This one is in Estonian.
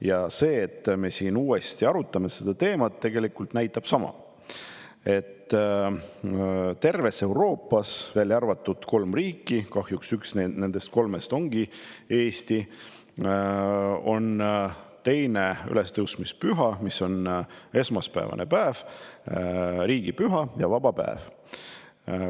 Ja see, et me uuesti seda teemat arutame, näitab tegelikult sama: terves Euroopas, välja arvatud kolmes riigis, kahjuks üks nendest kolmest ongi Eesti, on 2. ülestõusmispüha vaba päev ja riigipüha ning on esmaspäevasel päeval.